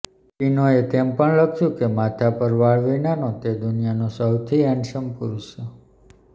ટીનોએ તેમ પણ લખ્યું કે માથા પર વાળ વિનાનો તે દુનિયાનો સૌથી હેન્ડસમ પુરુષ છે